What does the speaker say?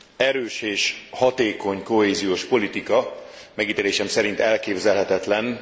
Erős és hatékony kohéziós politika megítélésem szerint elképzelhetetlen.